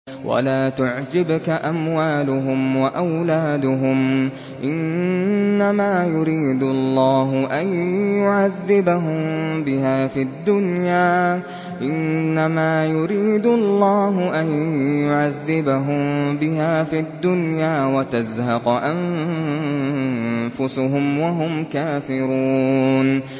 وَلَا تُعْجِبْكَ أَمْوَالُهُمْ وَأَوْلَادُهُمْ ۚ إِنَّمَا يُرِيدُ اللَّهُ أَن يُعَذِّبَهُم بِهَا فِي الدُّنْيَا وَتَزْهَقَ أَنفُسُهُمْ وَهُمْ كَافِرُونَ